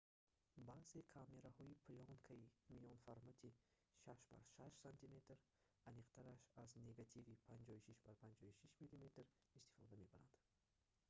баъзе камераҳои плёнкаи миёнаформати 6х6 см аниқтараш аз негативи 56х56 мм истифода мебаранд